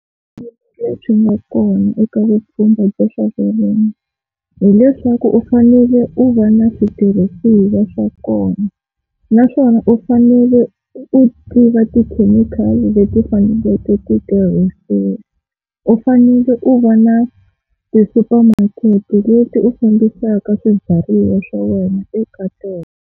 Lebyi nga kona eka vupfhumba bya swa vurimi, hileswaku u fanele u va na switirhisiwa swa kona naswona u fanele u tiva tikhemikhali leti faneleke titirhisiwa u fanele u va na tisupamakete leti u fambisaka swibyariwa swa wena eka tona.